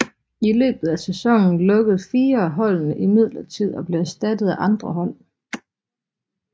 I løbet af sæsonen lukkede fire af holdene imidlertid og blev erstattet af andre hold